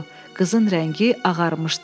Qızın rəngi ağarmışdı.